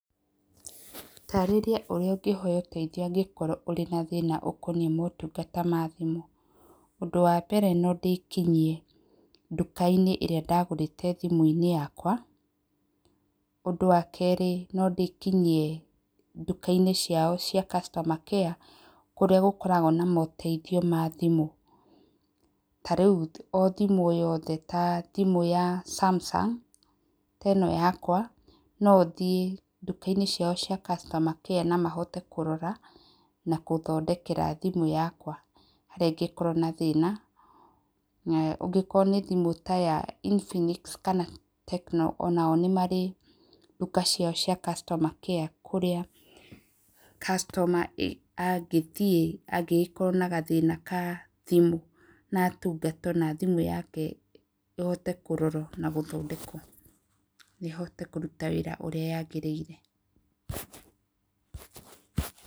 Taarĩria ũrĩa ũngĩhoya ũteithio angĩkorwo ũrĩ na thĩna ũkoniĩ motungata ma thimũ. Ũndũ wa mbere, no ndĩkinyie nduka-inĩ ĩrĩa ndagũrĩte thimũ yakwa, ũndũ wa kerĩ, no ndĩkinyie nduka-inĩ ciao cia customer care kũrĩa gũkũragwo na moteithio ma thimũ, ta rĩu o thimũ yothe ta thimũ ya Samsung, teno yakwa no hote gũthiĩ nduka-inĩ ciao cia customer care na mahote kũrora na gũthondekera thimũ yakwa harĩa ĩngĩkorwo na thĩna, ũngĩkorwo nĩ thimũ ta ya Infinix kana Tecno onao nĩ marĩ nduka ciao cia customer care kũrĩa customer angĩthiĩ angĩgĩkorwo na gathĩna ga thimũ, na atungatwo na thimũ yake ĩhote kororwo na gũthondekwo, ĩhote kũruta wĩra ũrĩa yagĩrĩire.